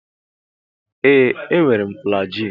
Ee m were flajilụ.